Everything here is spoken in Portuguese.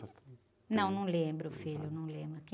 Não, não lembro, filho, não lembro.